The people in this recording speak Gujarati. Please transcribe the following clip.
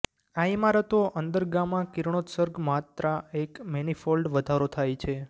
આ ઇમારતો અંદર ગામા કિરણોત્સર્ગ માત્રા એક મેનીફોલ્ડ વધારો થાય છે